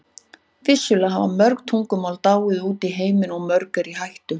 Vissulega hafa mörg tungumál dáið út í heiminum og mörg eru í hættu.